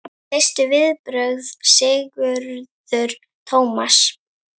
Þín fyrstu viðbrögð Sigurður Tómas?